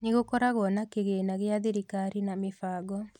Nĩ gũkoragwo na Kĩgĩĩna gĩa Thirikari na Mĩbango